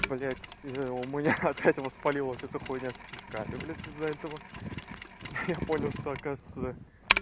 блядь у меня опять воспалилась эта хуйня с кишками блядь из-за этого я понял что оказывается